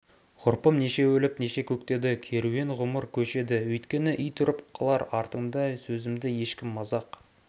ғұрпым неше өліп неше көктеді керуен ғұмыр көшеді өйткені ит үріп қалар артында сөзімді ешкім мазақ